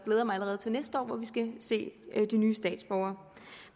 siger